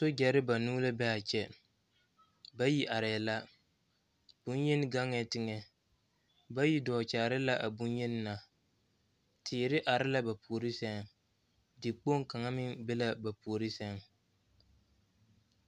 Sogyare banuu la be a kyɛ bayi arɛɛ la bonyen gaŋee teŋa bayi dɔɔ kyaare la a bonyeni na teere are la ba puori seŋ tekpoŋ kaŋ meŋ be la ba puori seŋ